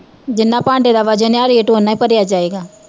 ਜਿੰਨਾ ਭਾਂਡੇ ਦਾ ਵਜਣ ਆ rate ਓਨਾ ਈ ਭਰਿਆ ਜਾਏਗਾ